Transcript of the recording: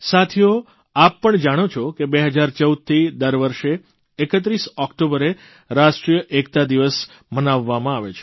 સાથીઓ આપ જાણો છો કે 2014થી દર વર્ષે 31 ઓકટોબરે રાષ્ટ્રીય એકતા દિવસ મનાવવામાં આવે છે